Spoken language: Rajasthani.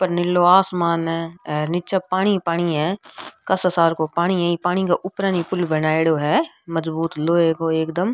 ऊपर नीलो आसमान है निचे पानी ही पानी है कसोसार को पानी है पानी के ऊपर पुल बनाइडो है मजबूत लोहे को एकदम।